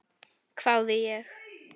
hváði ég.